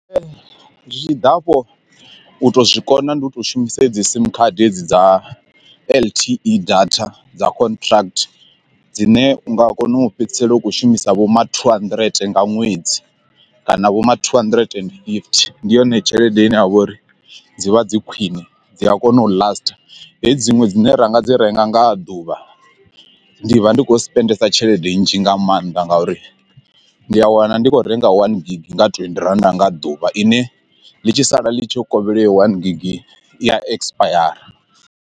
Zwi tshi ḓa afho u to zwikona ndi u to shumisa hedzi sim khadi dza L_T_E data dza contract dzine u nga kona u fhedzisela u kho shumisa vho ma two handirente nga ṅwedzi kana vho ma two hundred and fifty ndi yone tshelede ine ya vha uri dzi vha dzi khwine dzi a kona u lastha. Hedzi dziṅwe dzine ra nga dzi renga nga ḓuvha ndi vha ndi khou spendesa tshelede nzhi nga maanḓa ngauri ndi a wana ndi kho renga one gig nga twendi rannda nga ḓuvha ine ḽi tshi sala ḽi tshi kovhela heyo one gig ya ekisipayara.